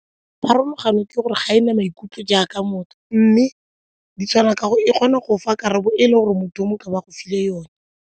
Pharologano ke gore ga e na maikutlo jaaka motho mme di tshwana ka gore kgona go fa karabo e le gore motho o mongwe e ka bo a go file yone.